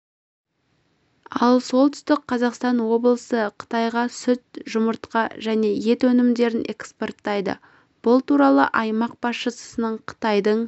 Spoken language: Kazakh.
ал солтүстік қазақстан облысы қытайға сүт жұмыртқа және ет өнімдерін экспорттайды бұл туралы аймақ басшысының қытайдың